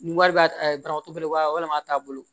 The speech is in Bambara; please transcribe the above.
Nin wari b'a bara tɔ belebeleba walima a t'a bolo